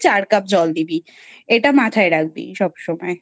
আর চার কাপ জল দিবি এটা মাথায় রাখবি সব সময়,